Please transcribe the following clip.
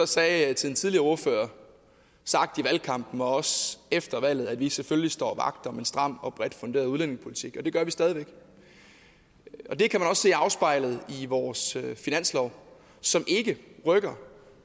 sagde til den tidligere ordfører sagt i valgkampen og også efter valget at vi selvfølgelig står vagt om en stram og bredt funderet udlændingepolitik og det gør vi stadig væk det kan man også se afspejlet i vores finanslov som ikke rykker